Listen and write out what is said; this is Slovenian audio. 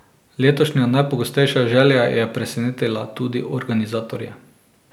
Letošnja najpogostejša želja je presenetila tudi organizatorje.